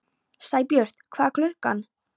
Sæbjartur, hvað er klukkan?